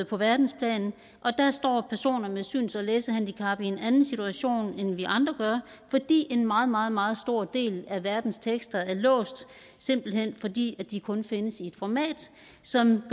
på verdensplan og med syns og læsehandicap i en anden situation end vi andre gør fordi en meget meget meget stor del af verdens tekster er låst simpelt hen fordi de kun findes i et format som